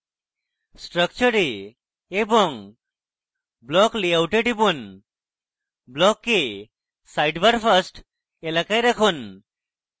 structure এ এবং block layout এ টিপুন block কে sidebar first এলাকায় রাখুন